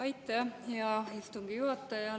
Aitäh, hea istungi juhataja!